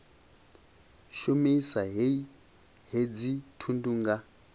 shumisa hei hedzi thundu nga